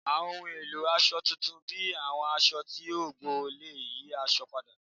Awọn ohun elo aṣọ tuntun bi awọn aṣọ ti o gbọn le yi aṣọ pada